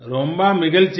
रोम्बा मगिलची